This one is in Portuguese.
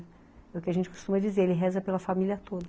É o que a gente costuma dizer, ele reza pela família toda.